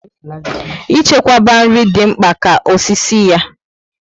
I chekwaba nri dị mkpa ka osisi ya